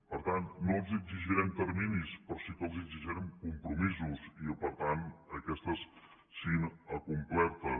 per tant no els exigirem terminis però sí que els exigirem compromisos i que per tant aquestes siguin acomplertes